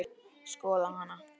Skoða hana?